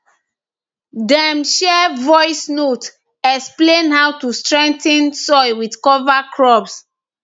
dem share voice notes explain how to strengthen soil with cover crops